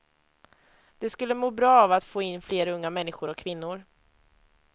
Det skulle må bra av att få in fler unga människor och kvinnor.